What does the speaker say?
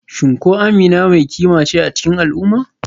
Shin ko Amina mai kima ce a cikin al'umma?